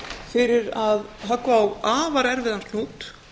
fyrir að höggva á afar erfiðan hnút